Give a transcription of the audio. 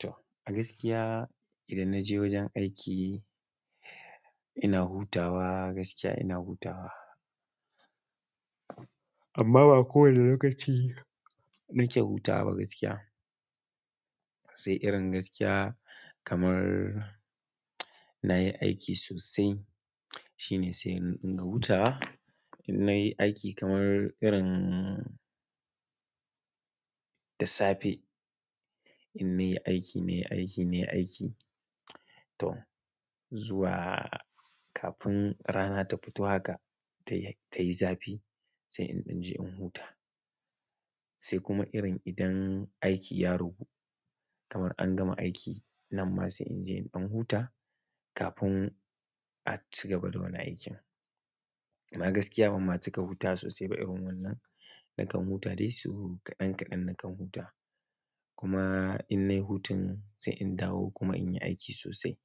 To, a gaskiya idan na je wajen aiki ina hutawa gaskiya ina hutawa. Amma ba ko wana lokaci nake hutawa ba gaskiya sai irin gaskiya kamar nayi aiki sosai shine sai in ringa hutawa, idan nayi aiki kamar irin da safe, in nayi aiki, nayi aiki, nayi aiki to zuwa kafin rana ta fito haka tayi zafi sai in je in huta. Sai kuma irin idan aiki ya ragu kamar an gama aiki, nan ma sai in je in huta a cigaba da wani aikin. Amma gaskiya ban ma cika hutawa sosai ba irin wannan nakan huta dai sau kaɗan kaɗan nakan huta. Kuma in nayi hutun sai in dawo kuma in yi aiki sosai